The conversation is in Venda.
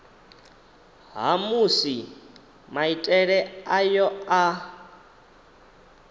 ha musi maitele ayo a